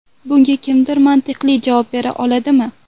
Bunga kimdir mantiqli javob bera oladimi?